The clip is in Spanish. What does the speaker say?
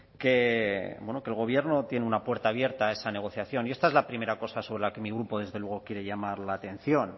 que el gobierno tiene una puerta abierta a esa negociación y esta es la primera cosa sobre la que mi grupo desde luego quiere llamar la atención